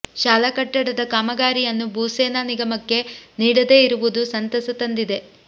ಶಾಲಾ ಕಟ್ಟಡದ ಕಾಮಗಾರಿಯನ್ನು ಭೂಸೇನಾ ನಿಗಮಕ್ಕೆ ನೀಡದೇ ಇರುವುದು ಸಂತಸ ತಂದಿದೆ